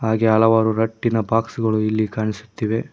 ಹಾಗೆ ಹಲವಾರು ರಟ್ಟಿನ ಬಾಕ್ಸ್ ಗಳು ಇಲ್ಲಿ ಕಾಣಿಸುತ್ತವೆ.